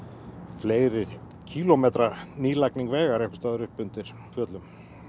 fleiri kílómetra nýlagning vegar einhvers staðar upp undir fjöllum